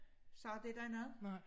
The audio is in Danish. Sagde det dig noget?